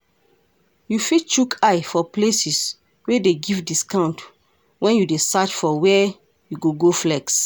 You fit chook eye for places wey dey give discount when you dey search for where you go go flex